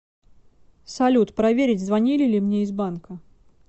салют проверить звонили ли мне из банка